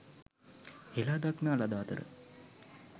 හෙළාදක්නා ලද අතර